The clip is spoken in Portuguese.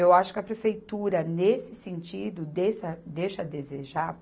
Eu acho que a prefeitura, nesse sentido, deixa a desejar.